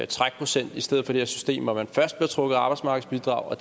trækprocent i stedet for det her system hvor man først bliver trukket i arbejdsmarkedsbidrag og